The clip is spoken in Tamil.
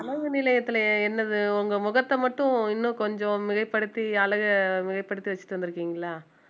அழகு நிலையத்தில என்னது உங்க முகத்தை மட்டும் இன்னும் கொஞ்சம் மிகைப்படுத்தி அழகை மிகைப்படுத்தி வச்சுட்டு வந்திருக்கீங்களா